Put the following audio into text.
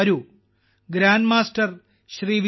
വരൂ ഗ്രാൻഡ്മാസ്റ്റർ ശ്രീ